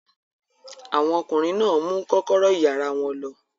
Àwọn ọkùnrin náà mú kọ́kọ́rọ́ ìyàrá wọn lọ.